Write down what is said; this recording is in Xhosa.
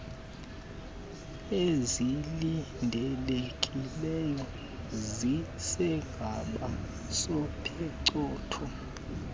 ezilindelekileyo zesigaba sophicotho